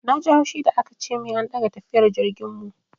Na ji haushi da aka ce min an ɗaga tafiyar jirgin mu.